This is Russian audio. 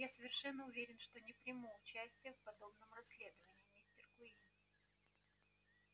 я совершенно уверен что не приму участия в подобном расследовании мистер куинн